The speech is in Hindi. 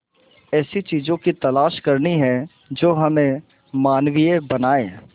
ऐसी चीजों की तलाश करनी है जो हमें मानवीय बनाएं